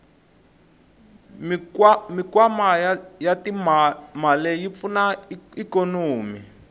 mikwama yatimale yipfuna ikonomi